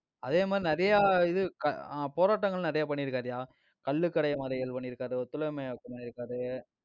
அதே மாதிரி, நிறைய இது க~ ஆஹ் போராட்டங்கள் நிறைய பண்ணியிருக்காருயா, கள்ளுக்கடை மறியல் பண்ணிருக்காரு, ஒத்துழையாமை இயக்கம் பண்ணிருக்காரு.